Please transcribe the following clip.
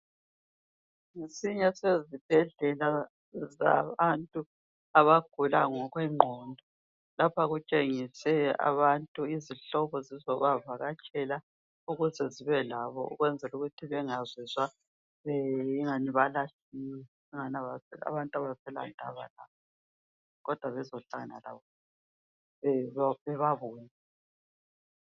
Ngesinye sezibhedlela zabantu abagula ngokwengqondo. Lapha kutshengiswe abantu, izihlobo zizobavakatshela, ukuze zibe labo ukwenzela ukuthi bengazizwa ingani balahliwe, angani abantu abasela ndaba labo, kodwa bezohlala labo